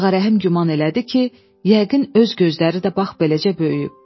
Ağarəhim güman elədi ki, yəqin öz gözləri də bax beləcə böyüyüb.